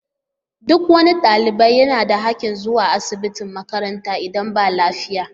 Duk wani ɗalibi yana da haƙƙin zuwa asibitin makaranta idan ba lafiya